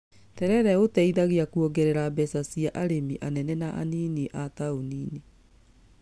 Terere ũteithagia kuongerera mbeca cia arĩmi anene na anini a taũni-inĩ